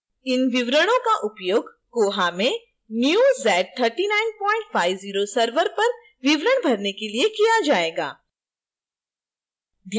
इन विवरणों का उपयोग koha में new z3950 server पर विवरण भरने के लिए किया जायेगा